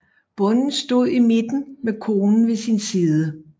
Bonden stod i midten med konen ved sin side